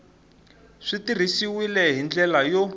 swi tirhisiwile hi ndlela yo